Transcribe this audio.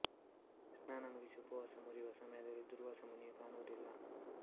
ಸ್ನಾನ ಮುಗಿಸಿ ಉಪವಾಸ ಮುರಿವ ಸಮಯದಲ್ಲಿ ದೂರ್ವಾಸ ಮುನಿಯು ಕಾಣುವುದಿಲ್ಲ್ಲ